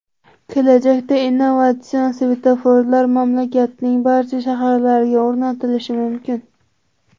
Kelajakda innovatsion svetoforlar mamlakatning barcha shaharlariga o‘rnatilishi mumkin.